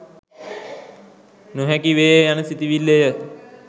නොහැකි වේය යන සිතිවිල්ලය.